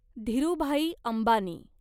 Dhirubhai Ambani